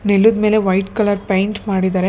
ನೆಲುದ್ಮೇಲೆ white colour paint ಮಾಡಿದ್ದರೆ ಮತ್ತೆ --